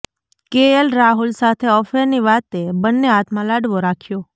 KL Rahul સાથે અફેરની વાતે બન્ને હાથમાં લાડવો રાખ્યો